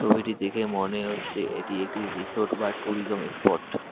ছবিটি দেখে মনে হচ্ছে এটি একটি রিসোর্ট বা ট্যুরিজম স্পট ।